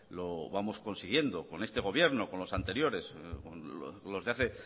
lo vamos consiguiendo con este gobierno con los anteriores los de hace